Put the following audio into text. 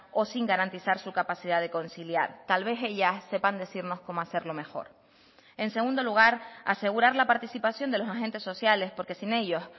o sin garantizar su capacidad de conciliar tal vez ellas sepan decirnos cómo hacerlo mejor en segundo lugar asegurar la participación de los agentes sociales porque sin ellos